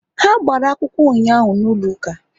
Ha gbara akwụkwọ ụnyaahụ n'ụlọ ụka